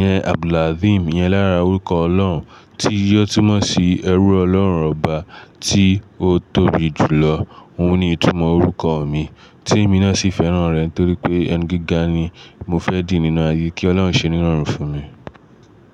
yẹn Abdul-Azim yẹn lára orúkọ Ọlọ́run, tí yóò túmọ̀ sí ẹrú Ọlọ́run ọba tí ó tóbi jùlọ. Óun ni ìtumọ̀ orúkọ mi, tí emi náà sì fẹ́ràn rẹ̀ n torí pé ẹni gíga ni mo fẹ́ di nínú ayé, kí Ọlọ́hun ṣe nínọ̀rùn fún mi.